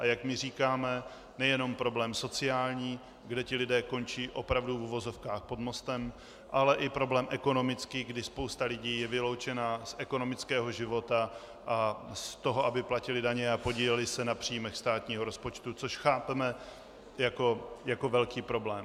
A jak my říkáme, nejenom problém sociální, kde ti lidé končí opravdu v uvozovkách pod mostem, ale i problém ekonomický, kdy spousta lidí je vyloučena z ekonomického života a z toho, aby platili daně a podíleli se na příjmech státního rozpočtu, což chápeme jako velký problém.